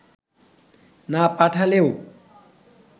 না পাঠালেও